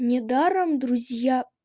недаром друзья